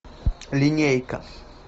линейка